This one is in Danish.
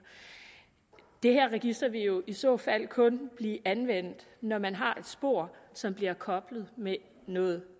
det her register vil jo i så fald kun blive anvendt når man har et spor som bliver koblet med noget